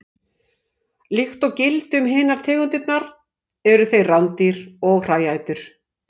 Líkt og gildir um hinar tegundirnar eru þeir rándýr og hræætur.